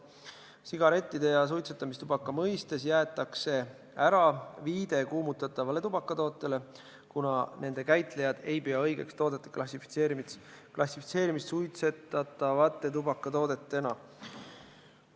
Sigarettide ja suitsetamistubaka mõistes jäetakse ära viide kuumutatavale tubakatootele, kuna nende käitlejad ei pea õigeks toodete klassifitseerimist suitsetatavate tubakatoodetena.